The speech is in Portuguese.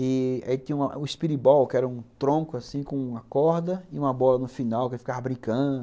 E aí tinha o espiribol, que era um tronco assim com uma corda e uma bola no final, que ele ficava brincando.